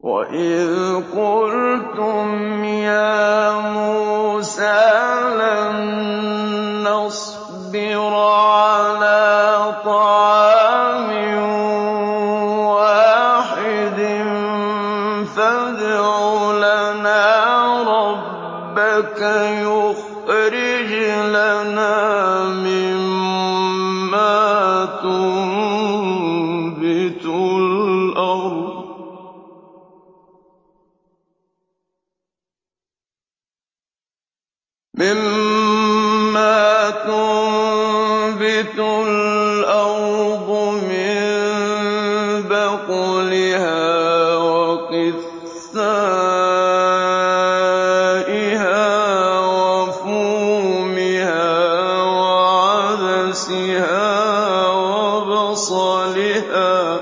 وَإِذْ قُلْتُمْ يَا مُوسَىٰ لَن نَّصْبِرَ عَلَىٰ طَعَامٍ وَاحِدٍ فَادْعُ لَنَا رَبَّكَ يُخْرِجْ لَنَا مِمَّا تُنبِتُ الْأَرْضُ مِن بَقْلِهَا وَقِثَّائِهَا وَفُومِهَا وَعَدَسِهَا وَبَصَلِهَا ۖ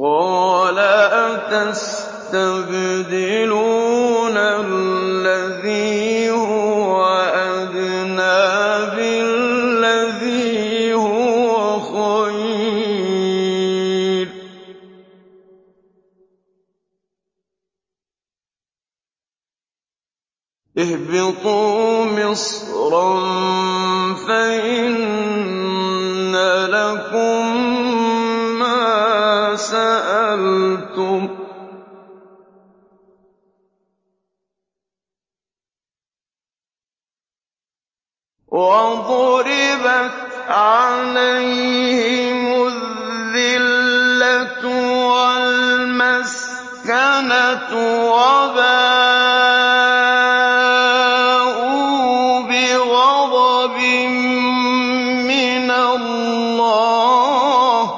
قَالَ أَتَسْتَبْدِلُونَ الَّذِي هُوَ أَدْنَىٰ بِالَّذِي هُوَ خَيْرٌ ۚ اهْبِطُوا مِصْرًا فَإِنَّ لَكُم مَّا سَأَلْتُمْ ۗ وَضُرِبَتْ عَلَيْهِمُ الذِّلَّةُ وَالْمَسْكَنَةُ وَبَاءُوا بِغَضَبٍ مِّنَ اللَّهِ ۗ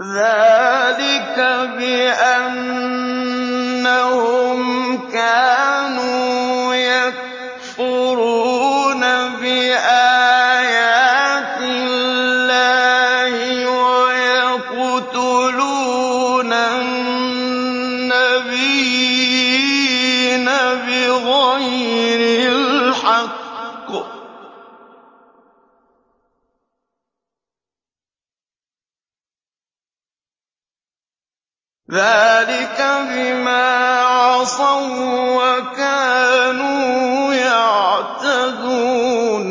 ذَٰلِكَ بِأَنَّهُمْ كَانُوا يَكْفُرُونَ بِآيَاتِ اللَّهِ وَيَقْتُلُونَ النَّبِيِّينَ بِغَيْرِ الْحَقِّ ۗ ذَٰلِكَ بِمَا عَصَوا وَّكَانُوا يَعْتَدُونَ